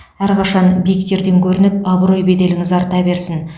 әрқашан биіктерден көрініп абырой беделіңіз арта берсін